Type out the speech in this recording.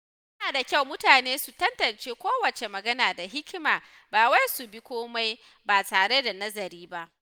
Yana da kyau mutane su tantance kowace magana da hikima, ba wai su bi komai ba tare da nazari ba.